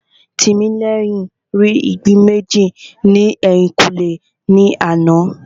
Tìmílẹ́yìn rí ìgbín méjì ní ẹ̀yìnkùlé ní àná